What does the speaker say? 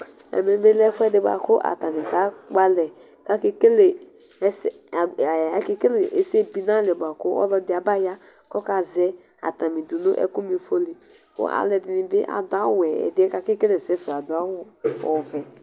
Ɛmɛbi lɛ ɛfuɛdi bʋakʋ atani akpɔ alɛ kʋ aka kele ɛsɛbi nʋ alɛ bʋakʋ ɔlɔdi abaya kʋ akazɛ atani dʋnʋ ɛkʋma ifɔli kʋ alʋɛdini bi adʋ awʋwɛ ɛdieni kʋ akekele ɛsɛfa adʋ awʋ ɔvɛ